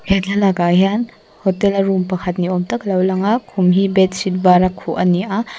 he thlalak ah hian hotel a room pakhat ni awm tak alo lang a khum hi bedsheet var a khuh ani a.